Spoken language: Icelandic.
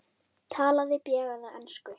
Talaði bjagaða ensku: